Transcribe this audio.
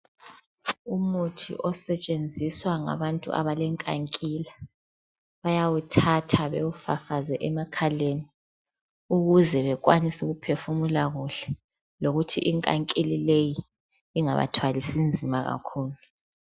umuthi osetshenziswa ngabantu abale nkankila bayawuthatha bawufafaze emakhaleni ukuze bekwanise ukuphefumula kuhle lokuthi inkankila leyi ingabathwalisi nzima kakhulu